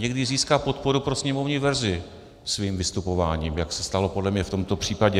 Někdy získá podporu pro sněmovní verzi svým vystupováním, jak se stalo podle mě v tomto případě.